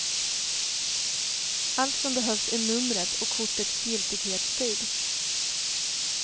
Allt som behövs är numret och kortets giltighetstid.